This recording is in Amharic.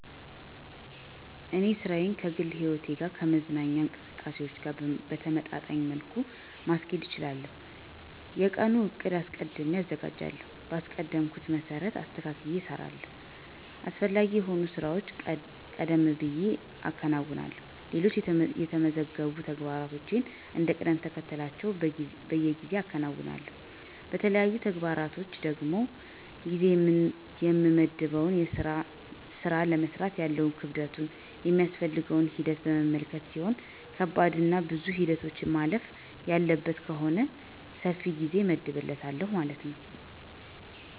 እኔ ሥራዬን ከግል ሕይወቴ እና ከመዝናኛ እንቅስቃሴዎች ጋር በተመጣጣኝ መልኩ ማስኬድ እችላለሁ። የቀኑን ዕቅድ አስቀድሜ አዘጋጃለሁ, በአቀድኩት መሰረትም አስተካክየ እሰራለሁ። አስፈላጊ የሆኑ ሥራዎችን ቀደም ብየ አከናውንና ሌሎች የተመዘገቡ ተግባሮችን እንደ ቅደምተከተላቸው በጊዜ አከናውናለሁ። ለተለያዩ ተግባሮች ደግሞ ጊዜ የምመድበው የስራውን ለመስራት ያለውን ክብደቱን ,የሚያስፈልገውን ሂደት በመመልከት ሲሆን ከባድና ብዙ ሂደቶችን ማለፍ ያለበት ከሆነ ሰፊ ጊዜ እመድብለታለሁ ማለት ነው።